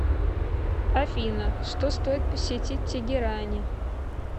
афина что стоит посетить в тегеране